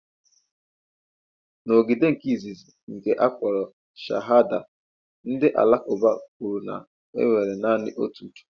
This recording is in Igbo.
N'ógìdì nke izizi nke akpọrọ Shahada, ndị Alakụba kwere na enwere naanị otu Chukwu.